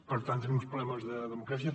per tant tenim també problemes de democràcia